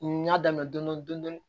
N y'a daminɛ dɔndɔni